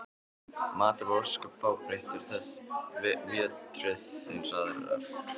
Maturinn var ósköp fábreyttur þessa vertíð eins og aðrar.